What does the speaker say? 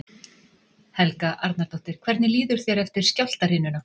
Helga Arnardóttir: Hvernig líður þér eftir skjálftahrinuna?